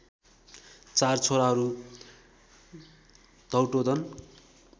चार छोराहरू धौतोदन